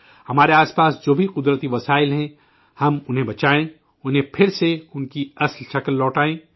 ہمارے اردگرد جتنے بھی قدرتی وسائل ہیں، ہمیں ان کو بچانا چاہیے، انھیں پھر سے ان کی اصلی شکل میں لانا چاہئیے